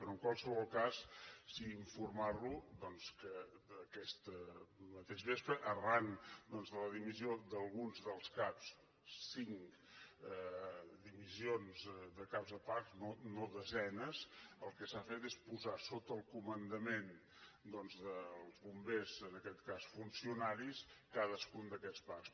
però en qualsevol cas sí que informar lo doncs que aquest mateix vespre arran de la dimissió d’alguns dels caps cinc dimissions de caps de parcs no desenes el que s’ha fet és posar sota el comandament dels bombers en aquest cas funcionaris cadascun d’aquests parcs